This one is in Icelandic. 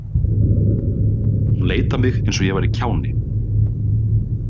Hún leit á mig eins og ég væri kjáni.